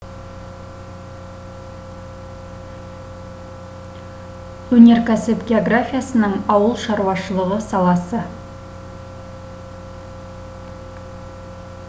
өнеркәсіп географиясының ауыл шаруашылығы саласы